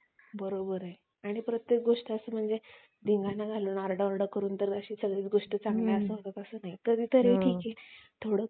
तस व्हायले म्हणजे दिवसेंदिवस काळ बदलत चाललाय त्यामुळे वेगवेगळ्या option पण म्हणजे जस